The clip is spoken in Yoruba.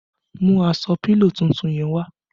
Mú aṣọ pílò tuntun yẹn wá!